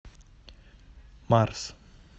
марс